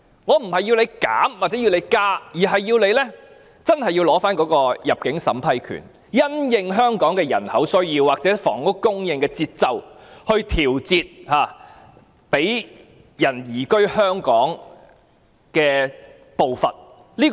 我並非要求政府減少或增加限額，而是要求政府切實收回入境審批權，因應香港的人口需要或房屋供應的節奏來調節容許移民移居香港的步伐。